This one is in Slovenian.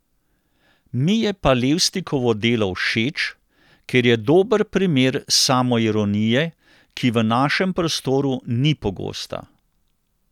Mi je pa Levstikovo delo všeč, ker je dober primer samoironije, ki v našem prostoru ni pogosta.